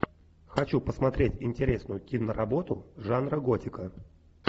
хочу посмотреть интересную киноработу жанра готика